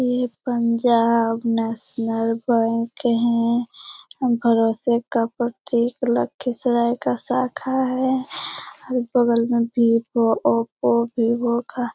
ये Punjab national bank है | हम भरोसे का प्रत्येक लखीसराय का शाखा है | अगल बगल में वीवो ओप्पो वीवो का --